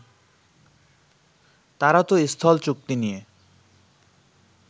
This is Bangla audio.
তারা তো স্থল চুক্তি নিয়ে